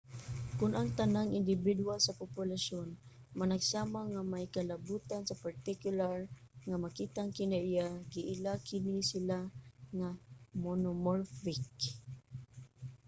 kon ang tanang indibidwal sa populasyon managsama nga may kalabotan sa partikular nga makitang kinaiya giila kini sila nga monomorphic